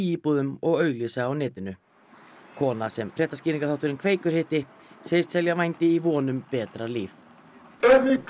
íbúðum og auglýsa á netinu kona sem fréttaskýringaþátturinn Kveikur hitti segist selja vændi í von um betra líf